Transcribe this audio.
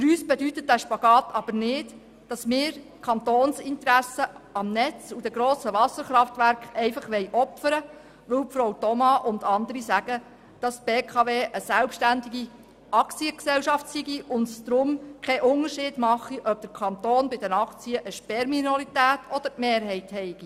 Für uns bedeutet dieser Spagat aber nicht, dass wir das Kantonsinteresse am Netz und an den grossen Wasserkraftwerken einfach opfern wollen, weil Frau Thoma und andere sagen, die BKW sei eine selbstständige Aktiengesellschaft und es mache deshalb keinen Unterschied, ob der Kanton bei den Aktien eine Sperrminorität oder die Mehrheit besitze.